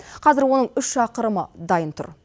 қазір оның үш шақырымы дайын тұр